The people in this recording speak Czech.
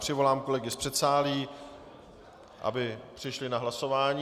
Přivolám kolegy z předsálí, aby přišli na hlasování.